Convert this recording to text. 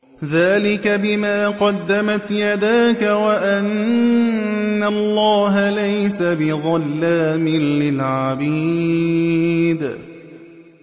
ذَٰلِكَ بِمَا قَدَّمَتْ يَدَاكَ وَأَنَّ اللَّهَ لَيْسَ بِظَلَّامٍ لِّلْعَبِيدِ